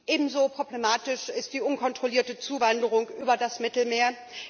Ebenso problematisch ist die unkontrollierte Zuwanderung über das Mittelmeer.